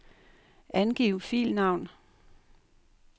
Angiv filnavn.